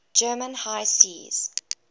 german high seas